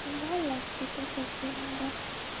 ଭଲ୍ ଲଗଶି ତ ସବକେ